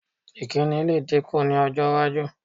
Ìkíni lè dínkù ní ọj́-iwájú.